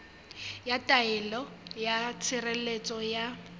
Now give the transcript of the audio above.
ya taelo ya tshireletso ya